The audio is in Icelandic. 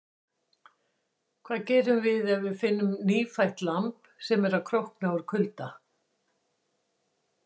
Hvað gerum við ef við finnum nýfætt lamb sem er að krókna úr kulda?